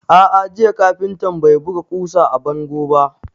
A'a, jiya kafintan bai buga ƙusa a bango ba.